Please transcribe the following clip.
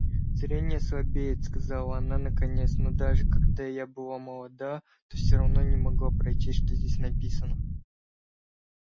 зрение слабеет сказала она наконец но даже когда я была молода то все равно не могла прочесть что здесь написано